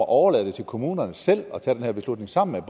overlade det til kommunerne selv at tage den her beslutning sammen